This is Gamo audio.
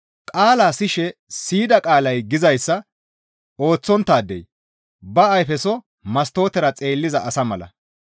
Qaalaa siyishe siyida qaalay gizayssa ooththonttaadey ba ayfeso mastootera xeelliza asa mala.